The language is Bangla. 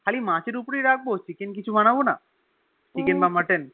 খালি মাছের ওপরেই রাখবি chicken কিছু বানাবোনা Chicken বা Mutton